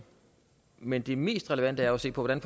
men det mest relevante er jo at se på hvordan